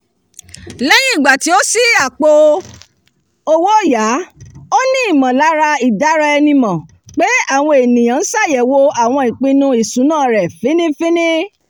lẹ́yìn ìgbà tí ó ṣí àpò-owóòyá ó ní ìmọ̀lára ìdáraẹnimọ̀ pé àwọn ènìyàn ń ṣàyẹ̀wò àwọn ìpinnu ìṣúná rẹ̀ fínnífiínní